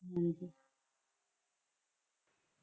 ਹਾਂਜੀ